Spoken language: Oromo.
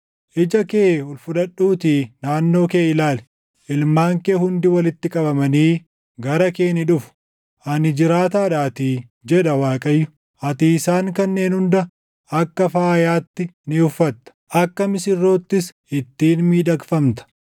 Ija kee ol fudhadhuutii naannoo kee ilaali; ilmaan kee hundi walitti qabamanii gara kee ni dhufu. Ani jiraataadhaatii” jedha Waaqayyo. “Ati isaan kanneen hunda akka faayaatti ni uffatta; akka misirroottis ittiin miidhagfamta.